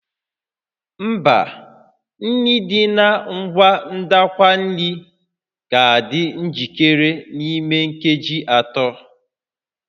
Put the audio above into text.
Mba, nri dị na ngwa ndakwa nri ga-adị njikere n'ime nkeji atọ